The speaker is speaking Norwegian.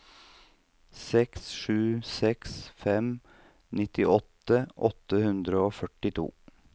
seks sju seks fem nittiåtte åtte hundre og førtito